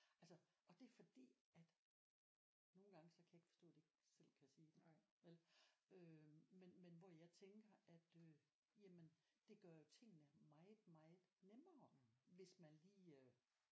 Altså og det er fordi at nogle gange så kan jeg ikke forstå det ikke selv kan sige det vel øh men men hvor jeg tænker at øh jamen det gør jo tingene meget meget nemmere hvis man lige øh